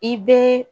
I be